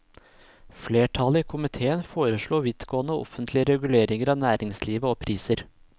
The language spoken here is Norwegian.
Flertallet i komiteen foreslo vidtgående offentlig regulering av næringslivet og priser.